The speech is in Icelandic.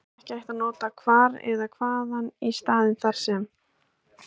Því er ekki hægt að nota hvar eða hvaðan í stað þar sem.